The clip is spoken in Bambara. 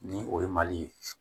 Ni o ye mali ye